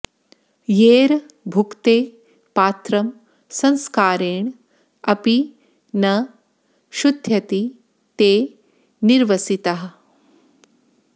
यैर् भुक्ते पात्रं संस्कारेण अपि न शुध्यति ते निरवसिताः